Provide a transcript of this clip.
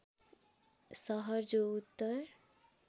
सहर जो उत्तर